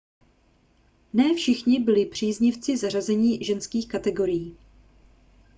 ne všichni byli příznivci zařazení ženských kategorií